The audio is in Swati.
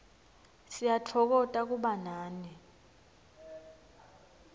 siyatfokota kuba nani